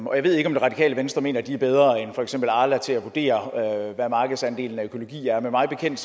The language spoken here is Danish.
og jeg ved ikke om det radikale venstre mener at de er bedre end for eksempel arla til at vurdere hvad markedsandelen af økologi er men mig bekendt